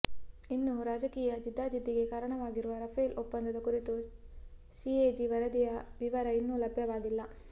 ಇನ್ನು ರಾಜಕೀಯ ಜಿದ್ದಾಜಿದ್ದಿಗೆ ಕಾರಣವಾಗಿರುವ ರಾಫೆಲ್ ಒಪ್ಪಂದದ ಕುರಿತು ಸಿಎಜಿ ವರದಿಯ ವಿವರ ಇನ್ನು ಲಭ್ಯವಾಗಿಲ್ಲ